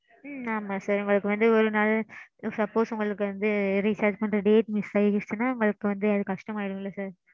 ம்ம் ஆமாம் sir உங்களுக்கு வந்து ஒரு நாள் suppose உங்களுக்கு வந்து recharge பண்ற date miss அயிருச்சுனா உங்களுக்கு வந்து அது கஷ்டமா ஆயிடும் இல்ல sir.